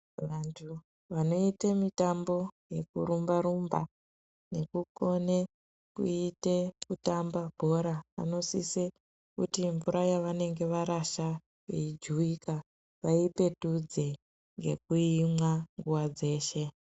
Vantu vanoite mitambo yekurumba rumba nekukone kuite kutamba bhora vanosise kuti mvura yavanenge varasha veijuwika vaipetudze ngekuimwa nguwa dzeshe.